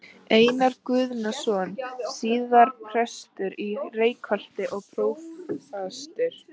Einar Guðnason, síðar prestur í Reykholti og prófastur.